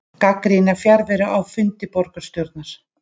Gagnrýna fjarveru á fundi borgarstjórnar